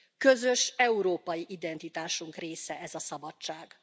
Közös európai identitásunk része ez a szabadság.